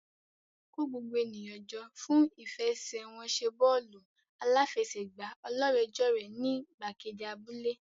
Kó gbogbo ènìyàn jọ fún ìfẹsẹ̀wọnsẹ̀ bọ́ọ̀lù aláfẹsẹ̀gbá ọlọ́rẹ̀ẹ́jọ̀rẹ́ ní gbàgede abúlé.